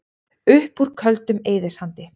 Upp úr Köldum eyðisandi